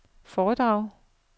foredrag